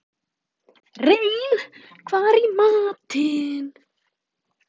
Rein, hvað er í matinn?